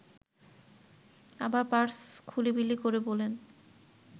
আবার পার্স খুলিবিলি করে বলেন